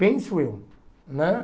Penso eu né.